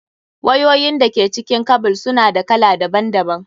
Wayoyin da ke cikin kabel su na da kala daban daban.